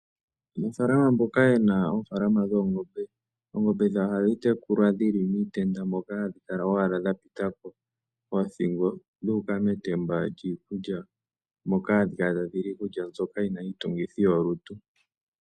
Aanafalama mboka ye na oofaalama dhoongombe, oongombe dhawo ohadhi tekulwa dhi li miitenda moka hadhi kala owala dha pita ko oothingo dhu uka metemba lyiikulya, moka hadhi kala tadhi li iikulya mbyoka yi na iitungithi yolutu.